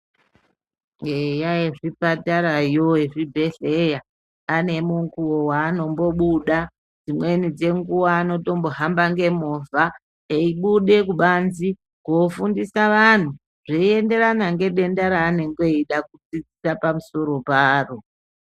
Eya ezvipatara, ezvibhedherawo anemukuwo weanombobuda dzimweni dzenguwa anotombohamba ngemovha, eibude kubanzi kofundisa antu zveienderana nedenda reanenge eida kudzidzisa pamusoro paro.